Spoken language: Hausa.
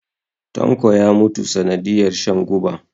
tanko ya mutu sanadiyar shan guba